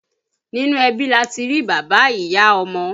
Nínú ẹbí lati rí bàbá, ìyá, ọmọ